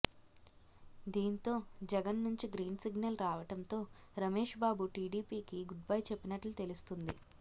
దీంతో జగన్ నుంచి green signal రావటంతో రమేష్బాబు టీడీపీకి గుడ్బై చెప్పినట్లు తెలుస్తోంది